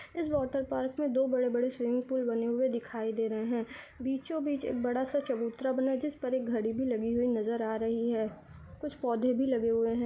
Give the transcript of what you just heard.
इस water park में दो बड़े बड़े स्विमिंग पुल बने हे दिखाई दे रही है बीचो बीच एक बड़ा सा चबुत्र्रा बना जिस पर एक घडी भी लगी हुई नज़र आ रही है कुछ पोधे भी लगे हुए है।